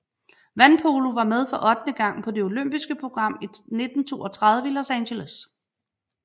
Vandpolo var med for ottende gang på det olympiske program 1932 i Los Angeles